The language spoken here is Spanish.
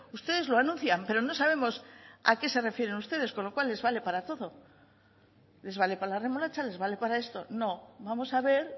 ustedes lo anuncian pero no sabemos a qué se refieren ustedes con lo cual les vale para todo les vale para la remolacha les vale para esto no vamos a ver